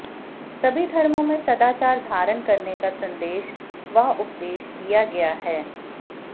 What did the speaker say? सभी धर्मों में सदाचार धारण करने का संदेश व उपदेश दिया गया है